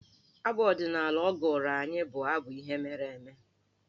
Abụ ọdịnaala ọ gụrụ anyị bụ abụ ihe mere eme.